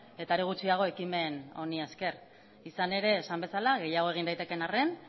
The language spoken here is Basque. eta are gutxiago ekimen honi esker izan ere esan bezala gehiago egin daitekeen arren